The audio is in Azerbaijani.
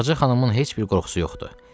Ağca xanımın heç bir qoxusu yoxdur.